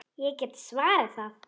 Ég get svarið það!